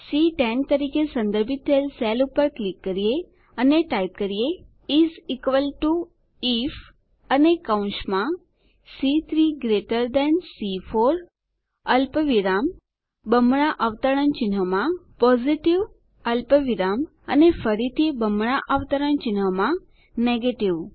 C10 તરીકે સંદર્ભિત થયેલ સેલ પર ક્લિક કરીએ અને ટાઈપ કરીએ ઇસ ઇક્વલ ટીઓ આઇએફ અને કૌંસમાં સી3 ગ્રેટર થાન સી4 અલ્પવિરામ બમણાં અવતરણમાં પોઝિટિવ અલ્પવિરામ અને ફરીથી બમણાં અવતરણમાં નેગેટિવ